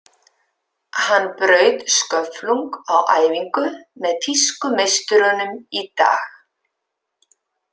Hann braut sköflung á æfingu með þýsku meisturunum í dag.